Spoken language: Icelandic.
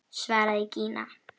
svaraði Gína.